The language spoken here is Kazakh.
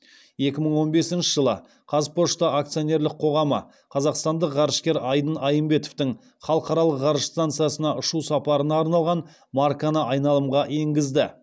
екі мың он бесінші жылы қазпошта акционерлік қоғамы қазақстандық ғарышкер айдын айымбетовтің халықаралық ғарыш станциясына ұшу сапарына арналған марканы айналымға енгізді